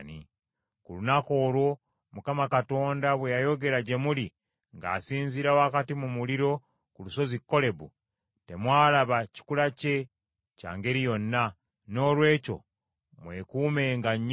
“Ku lunaku olwo Mukama Katonda bwe yayogera gye muli ng’asinziira wakati mu muliro ku lusozi Kolebu, temwalaba kikula kye kya ngeri yonna. Noolwekyo mwekuumenga nnyo,